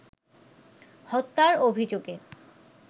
হত্যার অভিযোগে